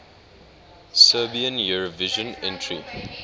serbian eurovision entry